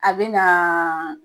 A be na